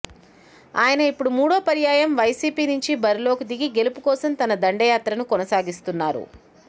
ఆయన ఇప్పుడు మూడో పర్యాయం వైసీపీ నుంచి బరిలోకి దిగి గెలుపుకోసం తన దండ యాత్రను కొనసాగిస్తున్నారు